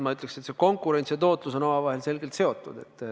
Ma ütleks, et konkurents ja tootlus on omavahel selgelt seotud.